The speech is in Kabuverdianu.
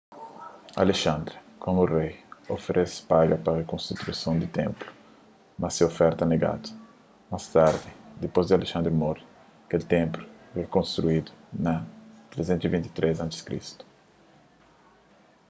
alexandre komu rei oferese paga pa rikonstruson di ténplu mas se oferta negadu más tardi dipôs di alexandre mori kel ténplu rikonstruidu na 323 a.c